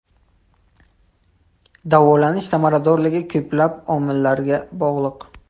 Davolashning samaradorligi ko‘plab omillarga bog‘liq.